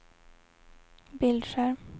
bildskärm